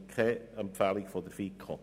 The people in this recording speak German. Deshalb gibt es keine Empfehlung der FiKo.